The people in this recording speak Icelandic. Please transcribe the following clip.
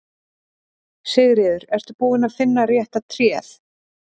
Sigríður: Ertu búinn að finna rétta tréð?